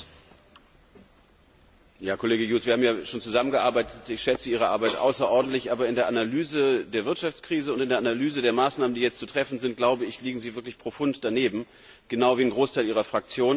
Herr Präsident! Herr Kollege Hughes! Wir haben ja schon zusammengearbeitet, und ich schätze Ihre Arbeit außerordentlich. Aber in der Analyse der Wirtschaftskrise und in der Analyse der Maßnahmen, die jetzt zu treffen sind, liegen Sie wirklich profund daneben, genau wie ein Großteil Ihrer Fraktion.